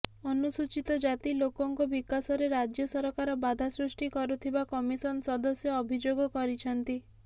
ଅନୁସୂଚିତ ଜାତି ଲୋକଙ୍କ ବିକାଶରେ ରାଜ୍ୟ ସରକାର ବାଧା ସୃଷ୍ଟି କରୁଥିବା କମିଶନ ସଦସ୍ୟ ଅଭିଯୋଗ କରିଛନ୍ତି